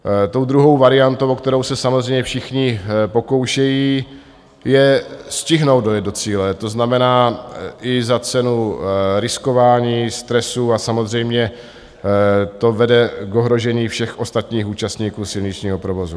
Tou druhou variantou, o kterou se samozřejmě všichni pokoušejí, je stihnout dojet do cíle, to znamená i za cenu riskování, stresu a samozřejmě to vede k ohrožení všech ostatních účastníků silničního provozu.